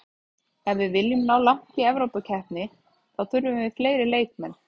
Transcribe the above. Ef við viljum ná langt í Evrópukeppni þá þurfum við fleiri leikmenn.